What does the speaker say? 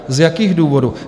Z jakých důvodů?